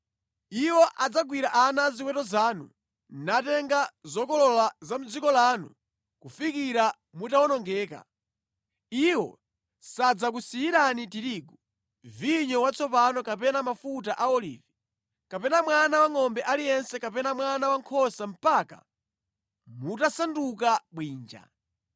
Iwo adzagwira ana a ziweto zanu, natenga zokolola za mʼdziko lanu kufikira mutawonongeka. Iwo sadzakusiyirani tirigu, vinyo watsopano kapena mafuta a olivi, kapena mwana wangʼombe aliyense kapena mwana wankhosa mpaka mutasanduka bwinja.